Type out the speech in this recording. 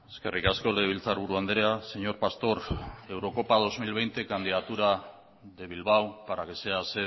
eskerrik asko legebiltzarburu andrea señor pastor eurocopa dos mil veinte candidatura de bilbao para que sea